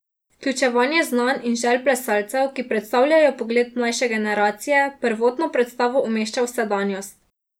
Vključevanje znanj in želj plesalcev, ki predstavljajo pogled mlajše generacije, prvotno predstavo umešča v sedanjost.